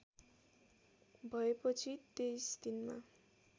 भएपछि २३ दिनमा